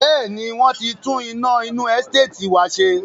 Bẹ́ẹ̀ni, wọ́n tí tún iná inú Ẹsteetì wá ṣe.